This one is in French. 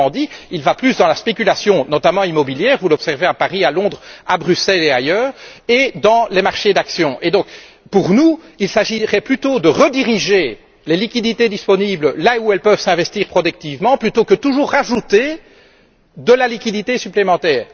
Autrement dit, il va plus dans la spéculation, notamment immobilière vous l'observez à Paris, à Londres, à Bruxelles et ailleurs et dans les marchés d'actions. Selon nous, il s'agirait donc plutôt de rediriger les liquidités disponibles là où elles peuvent s'investir productivement plutôt que toujours rajouter de la liquidité supplémentaire.